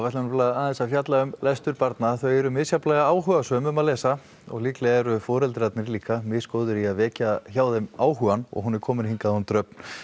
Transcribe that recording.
aðeins að fjalla um lestur barna þau eru misjafnlega áhugasöm um að lesa og líklega eru foreldrarnir líka misgóðir í að vekja hjá þeim áhugann og hún er komin hingað hún Dröfn